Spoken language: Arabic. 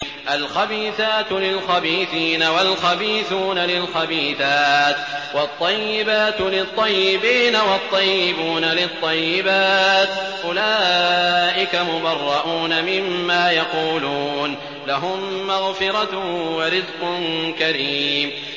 الْخَبِيثَاتُ لِلْخَبِيثِينَ وَالْخَبِيثُونَ لِلْخَبِيثَاتِ ۖ وَالطَّيِّبَاتُ لِلطَّيِّبِينَ وَالطَّيِّبُونَ لِلطَّيِّبَاتِ ۚ أُولَٰئِكَ مُبَرَّءُونَ مِمَّا يَقُولُونَ ۖ لَهُم مَّغْفِرَةٌ وَرِزْقٌ كَرِيمٌ